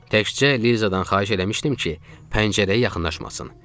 Təkcə Lizadan xahiş eləmişdim ki, pəncərəyə yaxınlaşmasın.